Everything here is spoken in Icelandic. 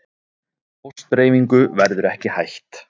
Póstdreifingu verður ekki hætt